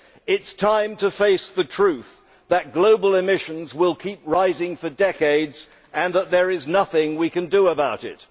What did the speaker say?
It is time to face the truth that global emissions will keep rising for decades and there is nothing that we can do about it.